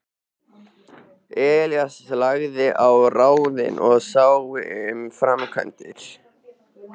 Elías lagði á ráðin og sá um framkvæmdir.